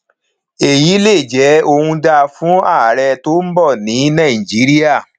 èyí lè jẹ ohun dáa fún ààrẹ tó ń bọ ní nàìjíríà